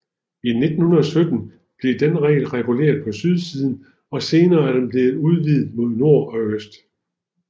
I 1917 blev den reguleret på sydsiden og senere er den blevet udvidet mod nord og øst